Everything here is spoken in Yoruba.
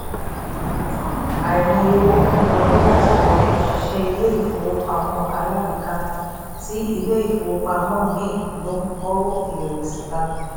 àìmọye owó tó ń wọlé látọ̀dọ̀ òṣìṣẹ́ ilé ìfowópamọ́ alágbèéká tí ilé ìfowópamọ́ mi ń lò ń kó ìrẹ̀wẹ̀sì bá mi